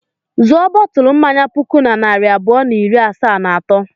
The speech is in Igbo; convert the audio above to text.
Zụọ bọtụlụ mmanya puku na narị abụọ na iri asaa na atọ.